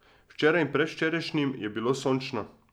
Včeraj in predvčerajšnjim je bilo sončno.